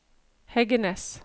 Heggenes